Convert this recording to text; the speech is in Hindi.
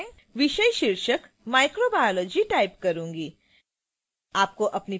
यह मैं विषय शीर्षक microbiology टाइप करूंगी